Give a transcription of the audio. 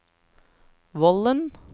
Vollen